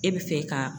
E bɛ fɛ ka